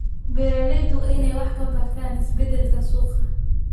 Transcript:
Beeraleydu waa inay wax ka bartaan isbeddelka suuqa.